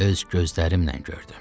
Öz gözlərimlə gördüm.